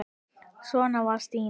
Svona var Stína.